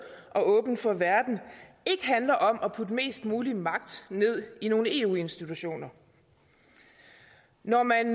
og åben for verden ikke handler om at putte mest mulig magt ned i nogle eu institutioner når man